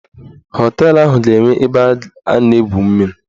Họteelụ ahụ ga-enwe ebe a na-egwu mmiri.